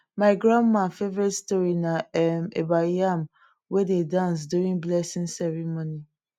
my grandma favourite story na um about yam wey dey dance during blessing ceremony